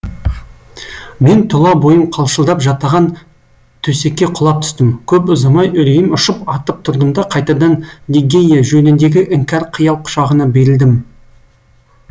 мен тұла бойым қалшылдап жатаған төсекке құлап түстім көп ұзамай үрейім ұшып атып тұрдым да қайтадан лигейя жөніндегі іңкәр қиял құшағына берілдім